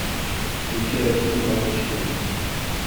включай россия двадцать четыре